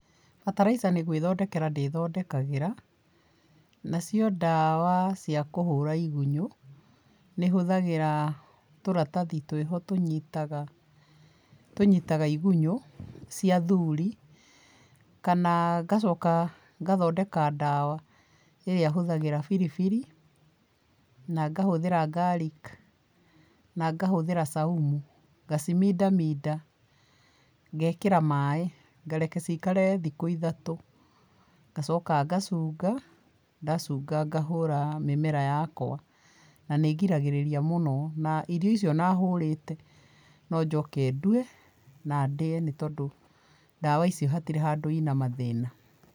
Bataraica nĩgwithondekera ndĩthondekagĩra, nacio ndawa ciakũhũra igunyũ, nĩhũthagĩra tũratathi twĩho tũnyitaga tũnyitaga igunyũ cia athuri, kana ngacoka ngathondeka ndawa ĩrĩa hũthagĩra biribiri na ngahũthĩra garlic na ngahũthĩra saumu ngacimindaminda, ngekĩra maĩ, ngareka cikare thikũ ithatũ, ngacoka ngacunga, ndacunga ngahũra mĩmera yakwa. Nanĩngiragĩrĩria mũno. Na irio icio ona hũrĩte, no njoke ndue, na ndĩe nĩtondũ ndawa icio hatirĩ handũ ina mathĩna.